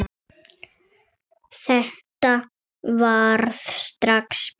Þetta varð strax betra.